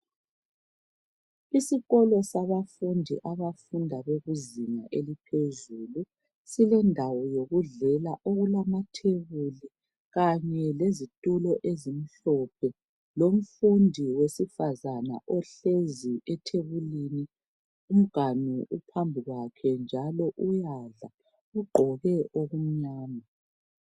isikolo sabafundi abafunda kuzinga eliphezulu silendawo yokudlela okulamatebuli kanye lezitulo ezimhlophe lomfundi wesifazana ohlezi etebulini lomganu uphambi kwakhe njalo uyadla ugqoke okumnyama